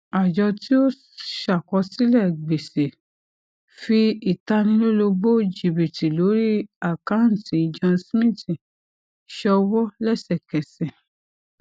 àjọ tí ó ṣàkọsílẹ gbèsè fí ìtanilólobó jìbìtì lórí àkántì john smith ṣọwọ lẹsẹkẹsẹ